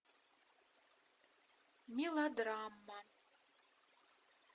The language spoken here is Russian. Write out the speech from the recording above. мелодрама